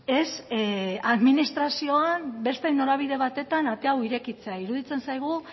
ez administrazioan beste norabide batetan ate hau irekitzea iruditzen zaigu